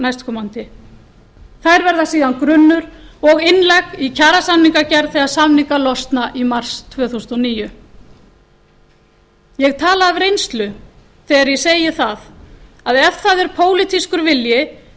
næstkomandi þær verða síðan grunnur og innlegg í kjarasamningagerð þegar samningar losna í mars tvö þúsund og níu ég tala af reynslu þegar ég segi að ef það er pólitískur vilji